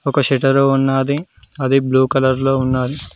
ఒక సెటరో ఉన్నది అది బ్లూ కలర్ లో ఉన్నది.